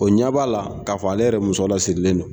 O ɲɛ b'a la k'a fɔ ale yɛrɛ muso lasirilen don